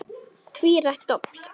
Tvírætt dobl.